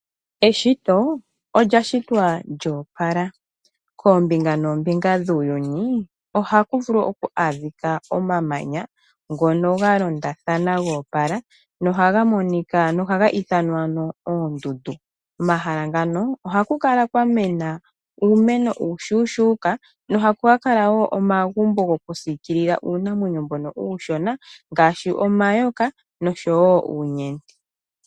Eshito olya shitwa lyoopala, koombinga noombinga dhuuyuni ohaku vulu oku adhika omamanya ngono ga londathana goopala nohaga ithanwa oondundu. Komahala ngano ohaku kala kwa mena uumeno uushushuuka nohaku omagumbo goku siikilila uunamwenyo mbono uushona ngaashi omayoka noshowo oonyeti.